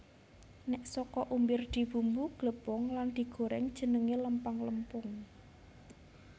Nek saka umbir dibumbu glepung lan digoreng jenenge lempang lempung